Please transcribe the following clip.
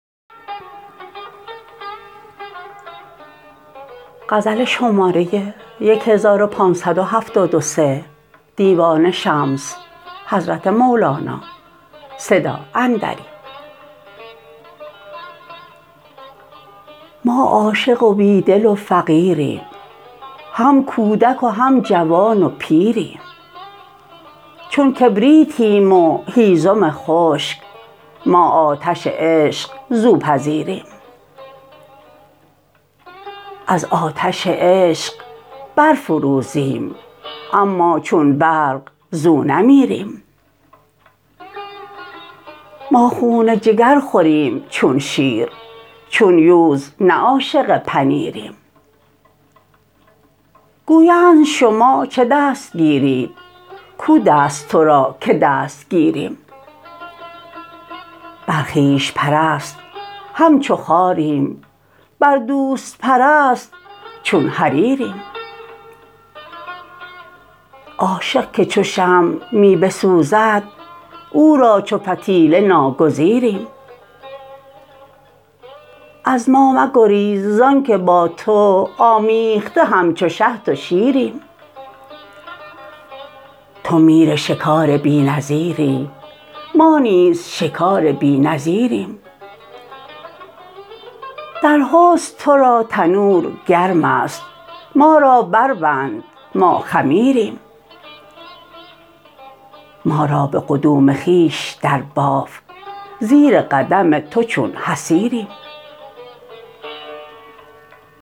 ما عاشق و بی دل و فقیریم هم کودک و هم جوان و پیریم چون کبریتیم و هیزم خشک ما آتش عشق زو پذیریم از آتش عشق برفروزیم اما چون برق زو نمیریم ما خون جگر خوریم چون شیر چون یوز نه عاشق پنیریم گویند شما چه دست گیرید کو دست تو را که دست گیریم بر خویش پرست همچو خاریم بر دوست پرست چون حریریم عاشق که چو شمع می بسوزد او را چو فتیله ناگزیریم از ما مگریز زانک با تو آمیخته همچو شهد و شیریم تو میر شکار بی نظیری ما نیز شکار بی نظیریم در حسن تو را تنور گرم است ما را بربند ما خمیریم ما را به قدوم خویش درباف زیر قدم تو چون حصیریم